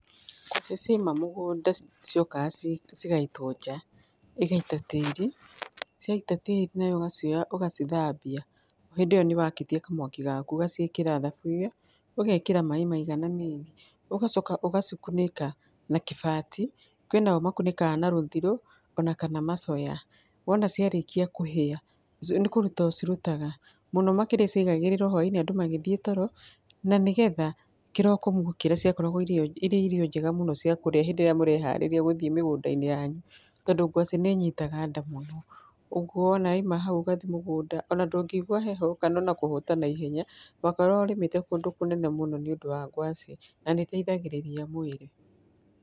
Ngwacĩ ciaima mũgũnda ciokaga ci cigaitwo nja, igaita tĩri, ciaita tĩri nawe ũgacioya ũgacithambia, hĩndĩ ĩyo nĩ wakĩtie kamwaki gaku, ũgaciĩkĩra thaburi, ũgekĩra maĩ maigananĩirie, ũgacoka ũgacikunĩka na kĩbati, kwinao makunĩkaga na rũthirũ ona kana macoya, wona ciarĩkia kũhia, ci nĩ kũruta ũcirutaga, mũno makĩria ciaigagĩrĩrwo hwainĩ andũ magĩthiĩ toro, na nĩ getha kĩroko mwokĩra ciakoragwo irio irĩ irio njega mũno ciakũrĩa hĩndĩ ĩrĩa mũreharĩria gũthiĩ mĩgũnda-inĩ yanyu, tondũ gwacĩ nĩ ĩyitaga nda mũno, ũguo wona waima hau ũgathiĩ mũgũnda, ona ndũngĩigwa heho kana ona kũhũta mũno, wakoragwo ũrĩmĩtĩ kũndũ kũnene mũno nĩ ũndũ wa gwacĩ, na nĩ ĩteithagĩrĩria mwĩrĩ.